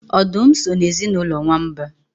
Ọdụm so n'ezinụlọ nwamba